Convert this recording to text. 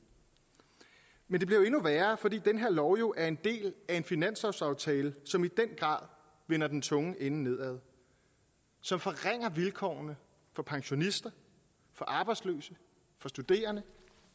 men det bliver jo endnu værre fordi den her lov er en del af en finanslovsaftale som i den grad vender den tunge ende nedad som forringer vilkårene for pensionister for arbejdsløse for studerende